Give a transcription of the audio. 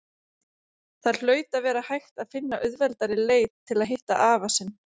Það hlaut að vera hægt að finna auðveldari leið til að hitta afa sinn.